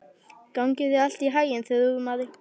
Gangi þér allt í haginn, Þrúðmar.